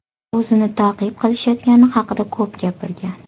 U o‘zini ta’qib qilishayotgani haqida ko‘p gapirgan.